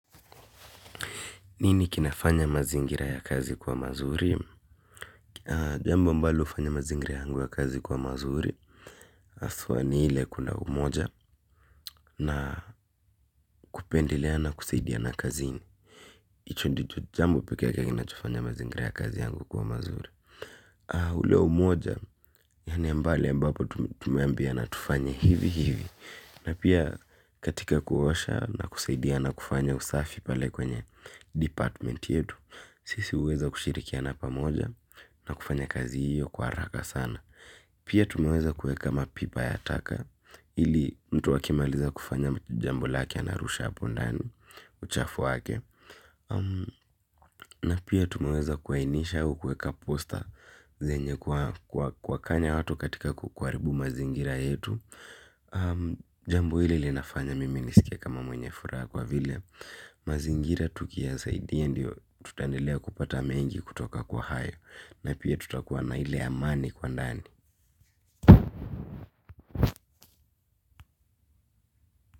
Nini kinafanya mazingira ya kazi kwa mazuri? Jambo ambalo hufanya mazingira yangu ya kazi kuwa mazuri. Haswa ni ile kuna umoja na kupendelea na kusaidiana kazini. Hicho ndicho jambo pekee kinachofanya mazingira ya kazi yangu kuwa mazuri. Ule umoja, yaani pale ambapo tumeambiana tufanye hivi hivi. Na pia katika kuosha na kusaidiana kufanya usafi pale kwenye 'department' yetu. Sisi huweza kushirikiana pamoja na kufanya kazi hiyo kwa haraka sana. Pia tumeweza kuweka mapipa ya taka. Ili mtu akimaliza kufanya jambo lake anarusha hapo ndani uchafu wake. Na pia tumeweza kuainisha au kuweka 'poster' zenye kuwakanya watu katika kuharibu mazingira yetu. Jambo hili linafanya mimi nisikie kama mwenye furaha kwa vile mazingira tukiyasaidia ndio tutaendelea kupata mengi kutoka kwa hayo. Na pia tutakuwa na ile amani kwa ndani.